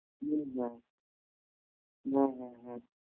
হম হম হম হম হম